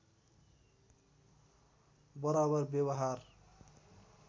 बराबर व्यवहार